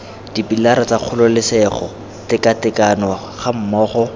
dipilara tsa kgololesego tekatekano gammogo